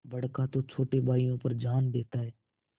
बड़का तो छोटे भाइयों पर जान देता हैं